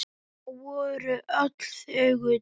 Þau voru öll þögul.